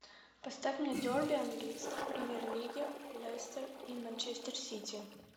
поставь мне дерби английской премьер лиги лестер и манчестер сити